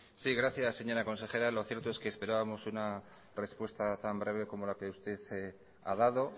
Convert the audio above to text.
sí gracias señora consejera lo cierto es que esperábamos una respuesta tan breve como la que usted ha dado